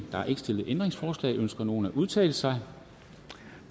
ændringsforslag ønsker nogen at udtale sig